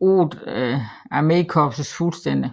VIII armékorps fuldstændig